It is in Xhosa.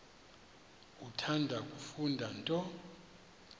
uthanda kufunda nto